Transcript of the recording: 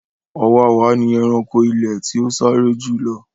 Ọ̀wàwà ni ẹranko ilẹ̀ tí ó sáré jù lọ.